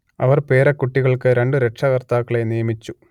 അവർ പേരക്കുട്ടികൾക്ക് രണ്ടു രക്ഷകർത്താക്കളെ നിയമിച്ചു